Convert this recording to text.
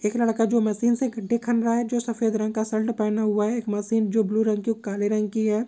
एक लड़का जो मशीन से घड्डे कर रहा है जो सफेद रंग का शर्ट पहना हुआ है एक मशीन जो ब्लू रंग का और काले रंग की है।